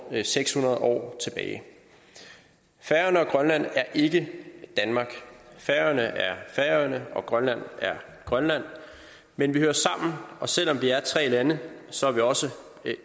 seks hundrede år tilbage færøerne og grønland er ikke danmark færøerne er færøerne og grønland er grønland men vi hører sammen og selv om vi er tre lande så er vi også